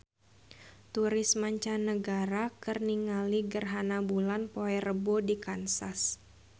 Turis mancanagara keur ningali gerhana bulan poe Rebo di Kansas